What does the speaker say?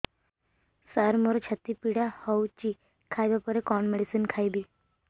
ସାର ମୋର ଛାତି ପୀଡା ହଉଚି ଖାଇବା ପରେ କଣ ମେଡିସିନ ଖାଇବି